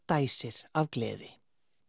dæsir af gleði